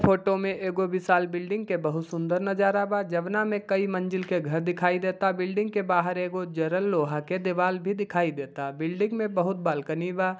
Photo में एगो विशाल बिल्डिंग के बहुत सुंदर नजारा बा जवना में कई मंजिल के घर दिखाई देता बिल्डिंग के बाहर एगो जरल लोहा के देवाल भी दिखाई देता बिल्डिंग में बहुत बालकनी बा।